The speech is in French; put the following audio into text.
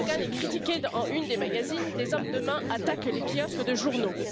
Erdoğan est critiqué en une des magazines, des hommes de main attaquent les kiosques de journaux.